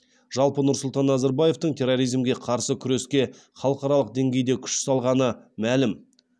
жалпы нұрсұлтан назарбаевтың терроризмге қарсы күреске халықаралық деңгейде күш салғаны мәлім